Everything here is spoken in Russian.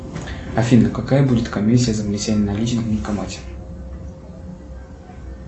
афина какая будет комиссия за внесение наличных в банкомате